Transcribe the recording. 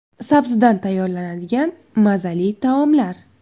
Sabzidan tayyorlanadigan mazali taomlar.